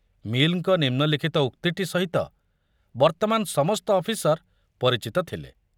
ମିଲ୍‌ଙ୍କ ନିମ୍ନଲିଖିତ ଉକ୍ତିଟି ସହିତ ବର୍ତ୍ତମାନ ସମସ୍ତ ଅଫିସର ପରିଚିତ ଥିଲେ